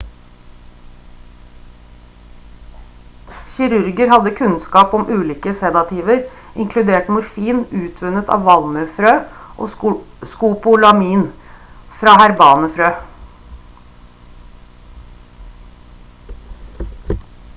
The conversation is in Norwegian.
kirurger hadde kunnskap om ulike sedativer inkludert morfin utvunnet av valmuefrø og skopolamin fra herbane frø